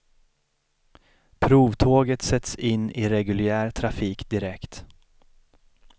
Provtåget sätts in i reguljär trafik direkt.